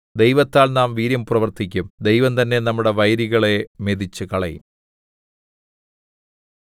ദൈവത്താൽ നാം വീര്യം പ്രവർത്തിക്കും ദൈവം തന്നെ നമ്മുടെ വൈരികളെ മെതിച്ചുകളയും